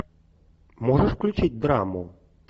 можешь включить драму